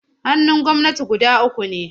Hannun gwamnati guda uku ne.